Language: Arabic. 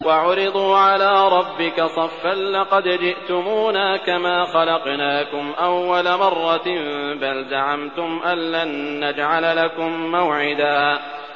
وَعُرِضُوا عَلَىٰ رَبِّكَ صَفًّا لَّقَدْ جِئْتُمُونَا كَمَا خَلَقْنَاكُمْ أَوَّلَ مَرَّةٍ ۚ بَلْ زَعَمْتُمْ أَلَّن نَّجْعَلَ لَكُم مَّوْعِدًا